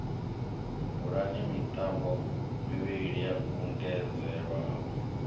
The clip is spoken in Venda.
bulani mitambo mivhili yo kungedzelwaho